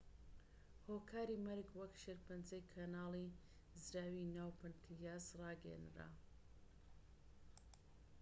هۆکاری مەرگ وەک شێرپەنجەی کەناڵی زراوی ناو پەنکریاس ڕاگەیەنرا